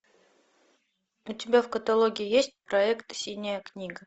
у тебя в каталоге есть проект синяя книга